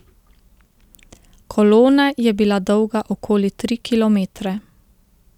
Kolona je bila dolga okoli tri kilometre.